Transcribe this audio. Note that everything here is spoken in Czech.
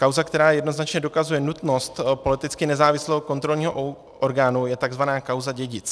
Kauza, která jednoznačně dokazuje nutnost politicky nezávislého kontrolního orgánu, je tzv. kauza Dědic.